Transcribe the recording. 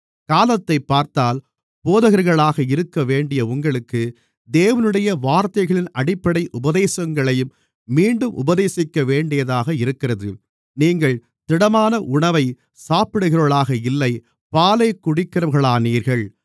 காலத்தைப் பார்த்தால் போதகர்களாக இருக்கவேண்டிய உங்களுக்கு தேவனுடைய வார்த்தைகளின் அடிப்படை உபதேசங்களை மீண்டும் உபதேசிக்கவேண்டியதாக இருக்கிறது நீங்கள் திடமான உணவைச் சாப்பிடுகிறவர்களாக இல்லை பாலைக் குடிக்கிறவர்களானீர்கள்